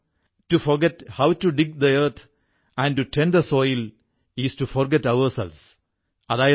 to forget how to dig the earth and to tend the soil is to forget ourselves